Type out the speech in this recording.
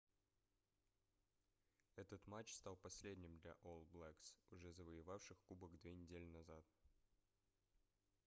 этот матч стал последним для олл блэкс уже завоевавших кубок две недели назад